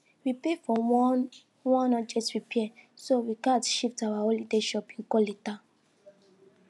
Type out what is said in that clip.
we pay for one one urgent repair so we gatz shift our holiday shopping go later